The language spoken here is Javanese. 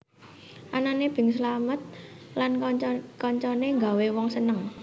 Anané Bing Slamet lan kanca kancane nggawé wong seneng